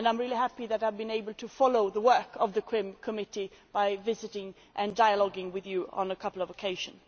I am happy that I have been able to follow the work of the CRIM committee by visiting you and talking with you on a couple of occasions.